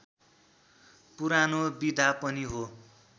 पुरानो विधा पनि हो